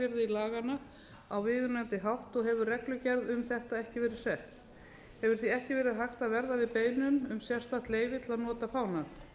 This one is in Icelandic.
laganna á viðunandi hátt og hefur reglugerð um þetta ekki verið sett hefur því ekki verið hægt að verða við beiðnum um sérstakt leyfi til að nota fánann